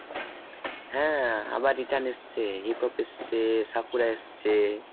হ্যাঁ আবার return এসছে hip-hop এসছে এসছে ।